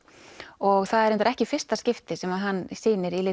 og það er reyndar ekki í fyrsta skipti sem hann sýnir í